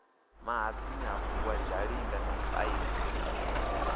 mahatsini ha vuwa zhalinga mipaini